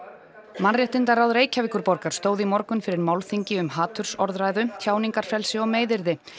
mannréttindaráð Reykjavíkurborgar stóð í morgun fyrir málþingi um hatursorðræðu tjáningarfrelsi og meiðyrði